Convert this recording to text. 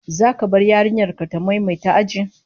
Zaka bar yarinyar ka ta maimaita aji?